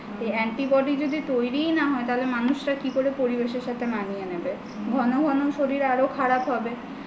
এই antibody যদি তৈরিই না হয় তাহলে মানুষেরা কিভাবে পরিবেশের সাথে মানিয়ে নেবে ঘন ঘন শরীর আরো খারাপ হবে